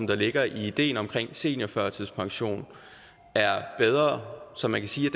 der ligger i ideen omkring seniorførtidspension er bedre så man kan sige